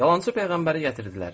Yalançı peyğəmbəri gətirdilər.